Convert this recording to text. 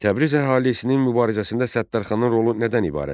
Təbriz əhalisinin mübarizəsində Səttarxanın rolu nədən ibarət idi?